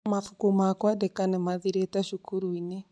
mabuku ma kwandĩka nĩ mathiriĩte cukuru-inĩ